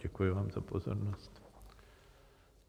Děkuji vám za pozornost.